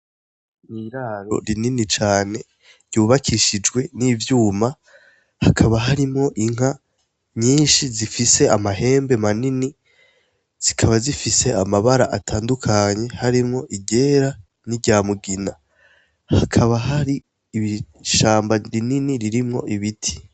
N'iraro rinini cane ryubakishijwe n'ivyuma , hakaba harimwo inka nyinshi zifise amahembe manini , zikaba zifise amabara atandukanye harimwo iryera n'iryamugina. Hakaba hari ishamba rinini ririmwo ibiti.